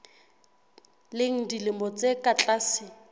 leng dilemo tse ka tlase